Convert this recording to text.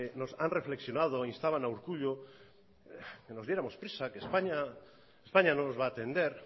han reflexionado e instaban a urkullu que nos diéramos prisa que españa no nos va a atender